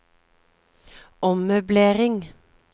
ommøblering